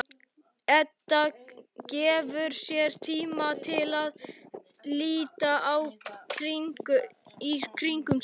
Edda gefur sér tíma til að líta í kringum sig.